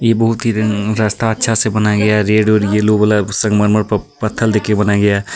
यह बहुत ही र रस्ता अच्छा से बनाया गया रेड और येलो कलर संगमरमर पर पत्थर देकर बनाया गया है.